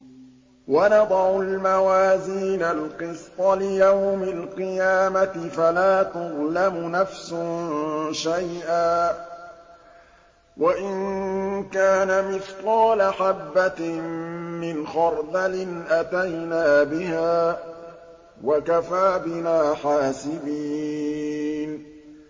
وَنَضَعُ الْمَوَازِينَ الْقِسْطَ لِيَوْمِ الْقِيَامَةِ فَلَا تُظْلَمُ نَفْسٌ شَيْئًا ۖ وَإِن كَانَ مِثْقَالَ حَبَّةٍ مِّنْ خَرْدَلٍ أَتَيْنَا بِهَا ۗ وَكَفَىٰ بِنَا حَاسِبِينَ